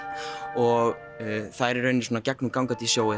og það er í rauninni svona gegnumgangandi í